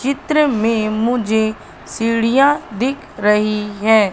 चित्र में मुझे सीढियां दिख रही हैं।